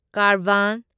ꯀꯥꯔꯕꯥꯟ